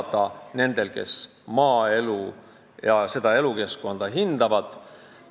Siin tahavad elada need, kes maaelu ja seda elukeskkonda hindavad.